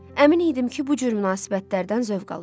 Əmin idim ki, bu cür münasibətlərdən zövq alır.